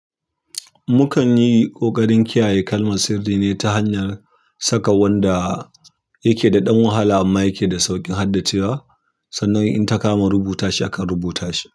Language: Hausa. Mukan yi ƙoƙarin kiyaye kalmar sirri ne ta hanyar saka wanda yake da ɗan wahala amma yake da sauƙin haddacewa, sannan in ta kama rubuta shi, akan rubuta shi.